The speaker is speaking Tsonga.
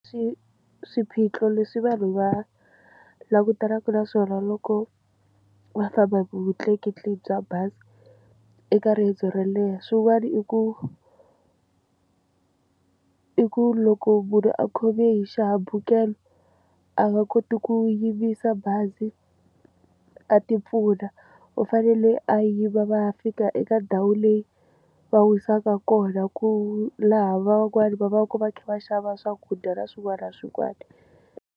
Swiphiqo leswi vanhu va langutanaka na swona loko va famba hi vutleketli bya bazi eka riendzo ro leha swin'wana i ku i ku loko munhu a khome hi xihambukelo a nga koti ku yimisa bazi a ti pfuna u fanele a yima va ya fika eka ndhawu leyi va wu yisaka kona ku laha van'wani va va ka va kha va xava swakudya na swin'wana na swin'wana.